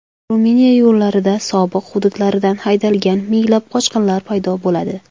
Ruminiya yo‘llarida sobiq hududlaridan haydalgan minglab qochqinlar paydo bo‘ladi.